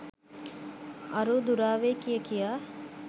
අරූ දුරාවේ කිය කියා